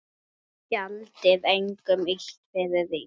Gjaldið engum illt fyrir illt.